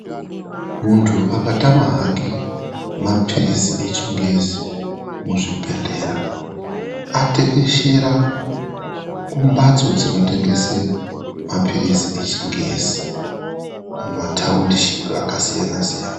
Mundu akatama hake mapirizi echingezi muzvibhedhlera atekeshera kumbatso dzinotengese mapirizi echingezi mumatawundishipi akasiyana siyana.